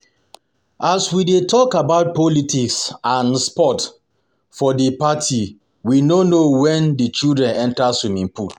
As we dey talk about politics and sports for the party we no know wen the children enter swimming pool